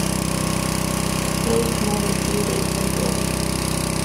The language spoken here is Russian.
поиск новой серии в сезоне